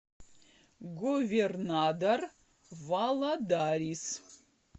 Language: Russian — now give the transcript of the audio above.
говернадор валадарис